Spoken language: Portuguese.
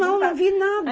Eu não, não vi nada.